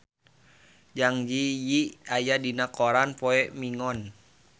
Zang Zi Yi aya dina koran poe Minggon